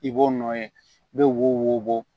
I b'o nɔ ye i bɛ wo bɔ